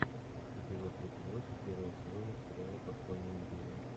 эпизод тридцать восемь первого сезона сериала подпольная империя